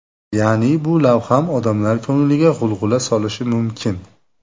Ya’ni bu lavham odamlar ko‘ngliga g‘ulg‘ula solishi mumkin.